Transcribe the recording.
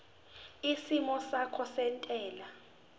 isimo sakho sezentela